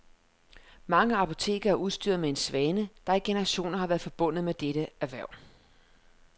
Mange apoteker er udstyret med en svane, der i generationer har været forbundet med dette erhverv.